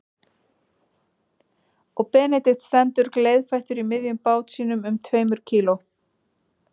Og Benedikt stendur gleiðfættur í miðjum bát sínum um tveimur kíló